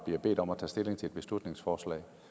bliver bedt om at tage stilling til et beslutningsforslag